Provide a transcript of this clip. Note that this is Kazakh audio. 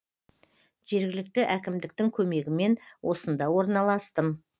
жергілікті әкімдіктің көмегімен осында орналастым